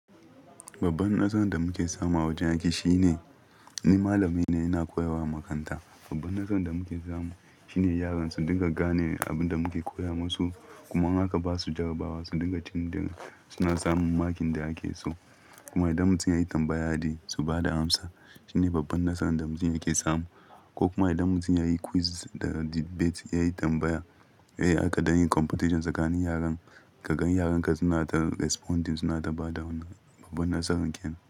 Babban nasaran da muke samu a wajen aiki shine ni malami ne ina koyarwa a makaranta. Babban nasaran da muke samu shine yaran su dinga gane abin da muke koya masu kuma haka ba su jarabawa su dinga tun daga suna samun makin da ake so. Kuma idan mun sun yi tambaya dai su ba da amsa shine babban nasaran da mun yake samu. Ko kuma idan mun sun yi quiz da debate yayi tambaya, eh aka dan yin competition tsakanin yaran kaga yaran ka suna ta responding suna ta ba da answer babban nasara kenan.